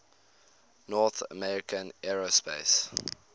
north american aerospace